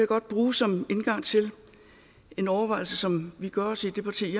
godt bruge som indgang til en overvejelse som vi gør os i det parti